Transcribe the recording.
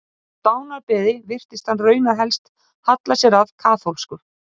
Á dánarbeði virtist hann raunar helst halla sér að kaþólsku.